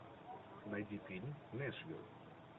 найди фильм нэшвилл